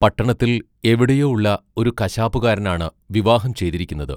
പട്ടണത്തിൽ എവിടെയോ ഉള്ള ഒരു കശാപ്പുകാരനാണ് വിവാഹം ചെയ്തിരിക്കുന്നത്.